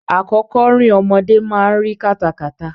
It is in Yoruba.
Àkọ́kọ́rìn ọmọdé ma ń ri kátakàta.